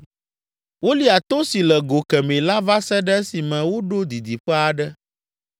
Wolia to si le go kemɛ la va se ɖe esime woɖo didiƒe aɖe.